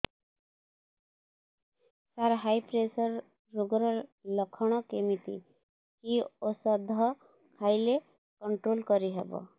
ସାର high pressure ରୋଗର ଲଖଣ କେମିତି କି ଓଷଧ ଖାଇଲେ କଂଟ୍ରୋଲ କରିହେବ